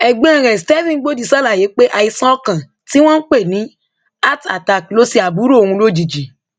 ẹgbọn rẹ stephen gbọdì ṣàlàyé pé àìsàn ọkàn tí wọn ń pè ní heartattack ló ṣe àbúrò òun lójijì